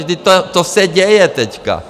Vždyť to se děje teď.